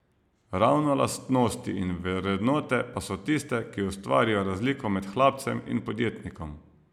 Ravno lastnosti in vrednote pa so tiste, ki ustvarijo razliko med hlapcem in podjetnikom.